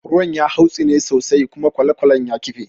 Ruwan ya hautsine sosai kuma kwalekwalen ya kife.